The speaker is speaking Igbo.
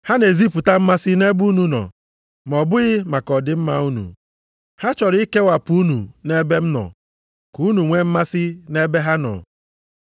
Ha na-ezipụta mmasị nʼebe unu nọ, ma ọ bụghị maka ọdịmma unu. Ha chọrọ ikewapụ unu nʼebe m nọ, ka unu nwee mmasị nʼebe ha nọ.